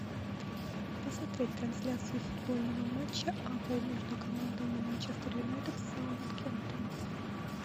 посмотреть трансляцию футбольного матча апл между командами манчестер юнайтед саутгемптон